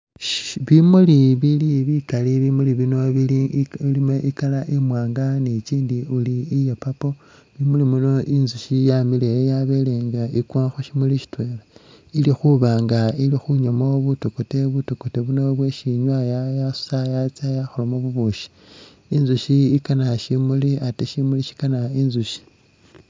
Bimuuli bili bikaali bimuuli bino bili bilimo i'colour imwanga ni kyindi uri iya' purple bimuuli bino intsushi yamileyo yabele nga ikwa khushimuuli shitwela ilikhubanga inywamo butokote, butokote buno bwesinywa yatsa yakholamo bubushi intsushi ikaana shimuuli ate shimuuli shikaana intsushi